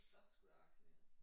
Og så skulle der vaccineres